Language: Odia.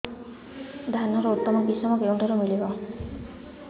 ଧାନର ଉତ୍ତମ କିଶମ କେଉଁଠାରୁ ମିଳିବ